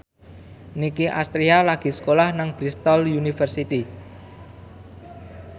Nicky Astria lagi sekolah nang Bristol university